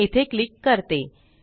मी येथे क्लिक करते